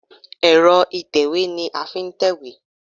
Ẹ̀rọ ìtẹ̀wé ni a fi ń tẹ̀wé.